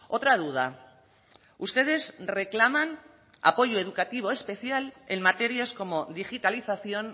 otra duda ustedes reclaman apoyo educativo especial en materias como digitalización